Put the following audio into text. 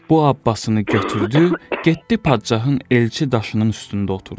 Bu abbasını götürdü, getdi padşahın elçi daşının üstündə oturdu.